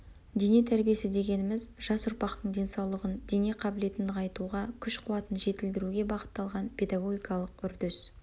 дене тәрбиесі дегеніміз жас ұрпақтың денсаулығын дене қабілетін нығайтуға күш қуатын жетілдіруге бағытталған педагогикалық үрдіс